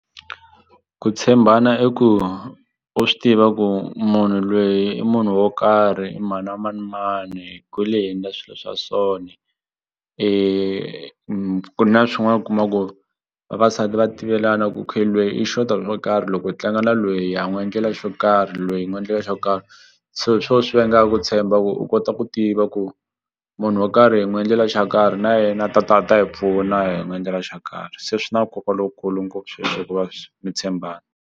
Ku tshembana i ku u swi tiva ku munhu lweyi i munhu wo karhi i mhana manimani kule hi endla swilo swa so ni ku na swin'wani u kuma ku vavasati va tivelana ku okay lweyi i xota hi swo karhi loko hi tlanga na lweyi ha n'wi endlela xo karhi lweyi hi n'wi endlela xo karhi so hi swo swi vangaku ku tshemba ku u kota ku tiva ku munhu wo karhi hi n'wi endlela xa karhi na yena ta ta ta hi pfuna hi n'wi endlela xa karhi se swi na nkoka lowukulu ngopfu sweswo ku va mi tshembana.